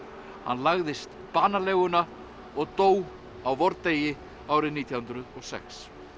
hann lagðist banaleguna og dó á vordegi árið nítján hundruð og sex